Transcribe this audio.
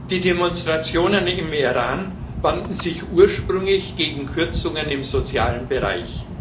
Die Demonstrationen im Iran wandten sich ursprünglich gegen Kürzungen im sozialen Bereich.